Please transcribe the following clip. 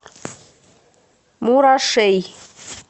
мурашей